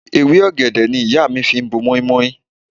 Ewé ọ̀gẹ̀dẹ̀ ni ìyá mi fi bo mọ́í-mọ́í.